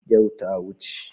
Yau ta wuce.